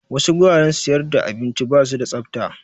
Wasu guraren siyar da abinci basu da tsafta